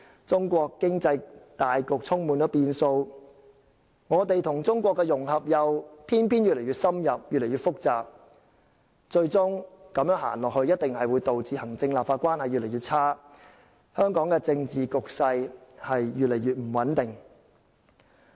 中國經濟大局充滿變數，我們與中國的融合又偏偏越來越深入，越來越複雜，如此走下去，最終一定會導致行政和立法關係越來越差，香港的政治局勢亦會越來越不穩定。